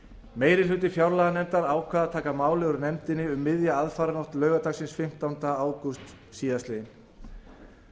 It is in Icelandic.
meiri hluti fjárlaganefndar ákvað að afgreiða málið frá nefndinni um miðja aðfaranótt laugardagsins fimmtánda ágúst síðastliðnum það